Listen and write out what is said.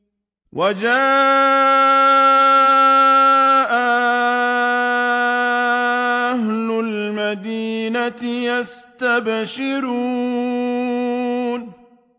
وَجَاءَ أَهْلُ الْمَدِينَةِ يَسْتَبْشِرُونَ